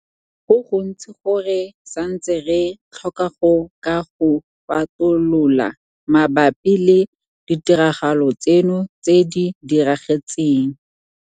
Go gontsi go re santseng re tlhoka go ka go fatolola mabapi le ditiragalo tseno tse di diragetseng.